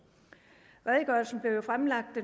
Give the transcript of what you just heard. redegørelsen blev jo fremlagt